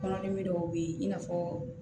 Kɔnɔdimi dɔw bɛ ye i n'a fɔ